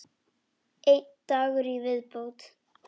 Einn dagur í viðbót!